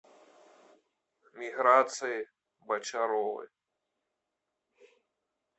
миграции бочаровой